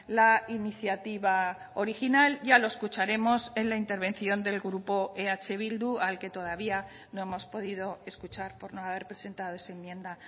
la iniciativa original ya lo escucharemos en la intervención del grupo eh bildu al que todavía no hemos podido escuchar por no haber presentado esa enmienda